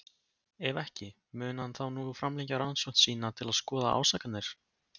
Ef ekki, mun hann þá nú framlengja rannsókn sína til að skoða ásakanirnar?